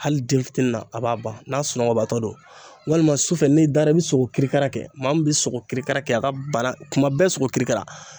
Hali denfitinin na a b'a ban n'a sunɔgɔbaatɔ do walima sufɛ n'i dara i be sigo kirikara kɛ maa min be sigo kirikara kɛ a ka bana kuma bɛɛ sigo kirikara